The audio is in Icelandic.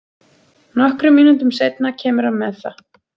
Nokkrum mínútum seinna kemur hann með það.